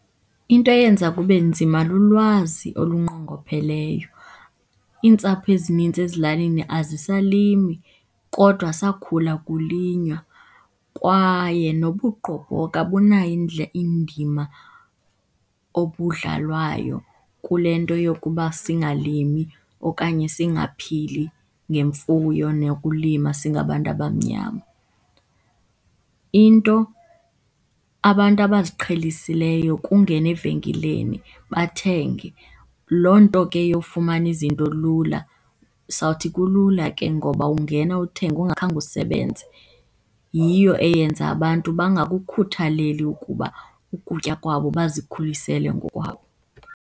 Into eyenza kube nzima lulwazi olunqongopheleyo. Iintsapho ezininzi ezilalini azisalimi kodwa sakhula kulinywa. Kwaye nobugqobhoka bunayo indima obudlalwayo kule nto yokuba singalimi okanye singaphili ngemfuyo nokulima singabantu abamnyama. Into abantu abaziqhelisileyo kungena evenkileni bathenge. Loo nto ke yofumana izinto lula, sizawuthi kulula ke ngoba ungena uthenge ungakhange usebenze, yiyo eyenza abantu bangakukhuthaleli ukuba ukutya kwabo bazikhulisele ngokwabo.